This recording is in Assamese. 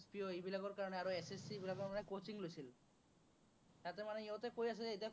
CO এইবিলাকৰ কাৰনে আৰু SSC বিলাকৰ মানে coaching লৈছিল। তাতে মানে সিহঁতে কৈ আছে যে এতিয়া